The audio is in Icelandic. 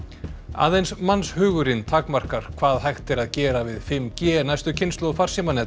aðeins mannshugurinn takmarkar hvað hægt er að gera við fimm g næstu kynslóð